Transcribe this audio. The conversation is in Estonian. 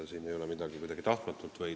Siin ei ole midagi tahtmatut.